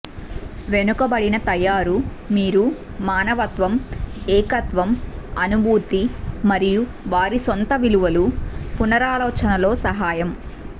వెనుకబడిన తయారు మీరు మానవత్వం ఏకత్వం అనుభూతి మరియు వారి సొంత విలువలు పునరాలోచనలో సహాయం